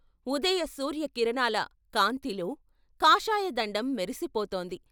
ఉదయ సూర్య కిరణాల కాంతిలో కాషాయదండం మెరిసిపోతోంది.